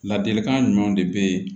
Ladilikan jumɛn de be yen